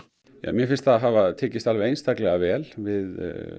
mér finnst það hafa tekist alveg einstaklega vel við